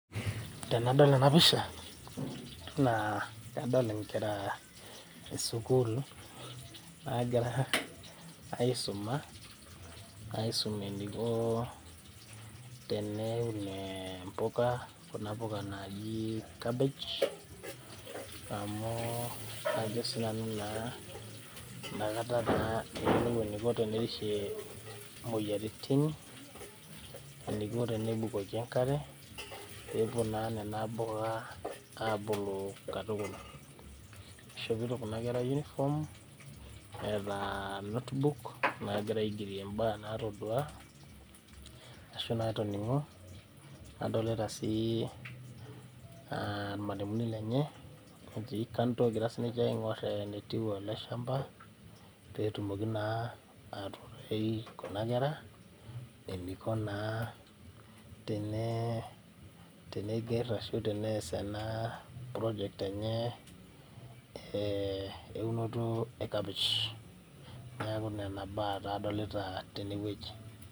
Tenadol enapisha, naa nadol inkera esukuul nagira aisuma, aisum eniko teneun impuka, kuna puka naji cabbage, amu kajo sinanu naa nakata naa eyiolou eniko tenerishie moyiaritin, eniko tenebukoki enkare, pepuo naa nena puka abulu katukul. Ishopito kuna kera uniform, eeta notebook egira aigerie imbaa natodua, ashu natoning'o, nadolita si ilmalimuni lenye, etii kando egira sininche aing'or enetiu ele shamba ,petumoki naa atuutai kuna kera, eniko naa tene, teneiger ashu tenees ena project eunoto e kapish. Neeku nena baa naa adolita tenewueji.